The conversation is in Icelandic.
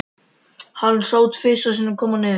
Hann sá Tinnu tvisvar koma niður.